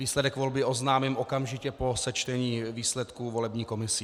Výsledek volby oznámím okamžitě po sečtení výsledků volební komisí.